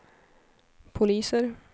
poliser